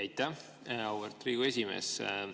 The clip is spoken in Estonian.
Aitäh, auväärt Riigikogu esimees!